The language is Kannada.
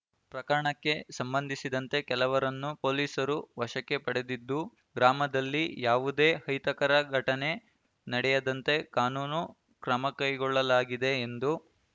ಪ್ರಕರಣಕ್ಕೆ ಸಂಬಂಧಿಸಿದಂತೆ ಕೆಲವರನ್ನು ಪೊಲೀಸರು ವಶಕ್ಕೆ ಪಡೆದಿದ್ದು ಗ್ರಾಮದಲ್ಲಿ ಯಾವುದೇ ಅಹಿತಕರ ಘಟನೆ ನಡೆಯದಂತೆ ಕಾನೂನು ಕ್ರಮಕೈಗೊಳ್ಳಲಾಗಿದೆ ಎಂದು